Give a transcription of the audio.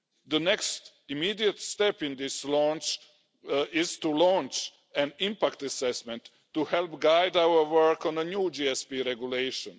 The next immediate step in this process is to launch an impact assessment to help guide our work on a new GSP Regulation.